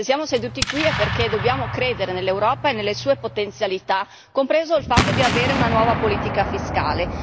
Se siamo seduti qui è perché dobbiamo credere nell'Europa e nelle sue potenzialità, compreso il fatto di avere una nuova politica fiscale.